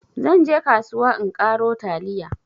zan je kasuwa in karo taliya